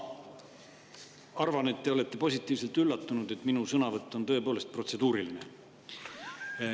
Ma arvan, et te olete positiivselt üllatunud, et minu on tõepoolest protseduuriline.